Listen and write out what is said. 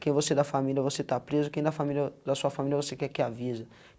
quem você da família, você está preso, quem da família, da sua família quer que avisa.